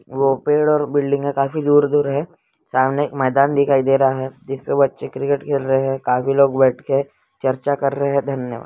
ओ पेलर बिल्डिंग काफी दूर-दूर है सामने मेंदान दिखाई दे रहा है जिसके बच्चे क्रिकेट खेल रहे हैं काफी लोग बैठके चर्चा कर रहे हैं धन्यवाद।